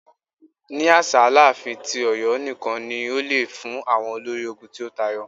Ni aṣa, Alaafin ti Ọyọ nikan ni o le fun awọn olori ogun ti o tayọ.